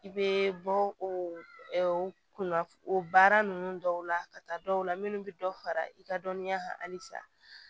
I bɛ bɔ o kunnafoni o baara ninnu dɔw la ka taa dɔw la minnu bɛ dɔ fara i ka dɔnniya kan halisa